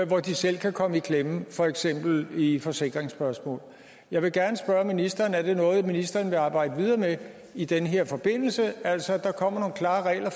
hvor de selv kan komme i klemme for eksempel i forsikringsspørgsmål jeg vil gerne spørge ministeren er det noget ministeren vil arbejde videre med i den her forbindelse altså at der kommer nogle klare regler